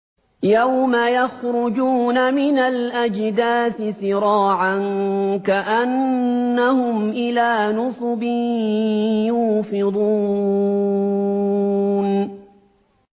يَوْمَ يَخْرُجُونَ مِنَ الْأَجْدَاثِ سِرَاعًا كَأَنَّهُمْ إِلَىٰ نُصُبٍ يُوفِضُونَ